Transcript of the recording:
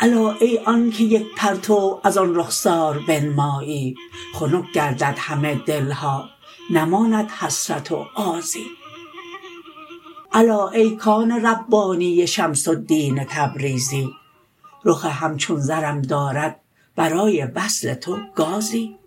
الا ای آنک یک پرتو از آن رخسار بنمایی خنک گردد همه دل ها نماند حسرت و آزی الا ای کان ربانی شمس الدین تبریزی رخ همچون زرم دارد برای وصل تو گازی